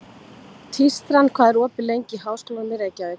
Tístran, hvað er opið lengi í Háskólanum í Reykjavík?